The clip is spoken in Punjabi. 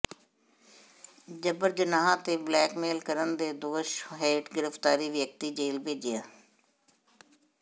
ਜਬਰ ਜਨਾਹ ਤੇ ਬਲੈਕਮੇਲ ਕਰਨ ਦੇ ਦੋਸ਼ ਹੇਠ ਗਿ੍ਫ਼ਤਾਰ ਵਿਅਕਤੀ ਜੇਲ੍ਹ ਭੇਜਿਆ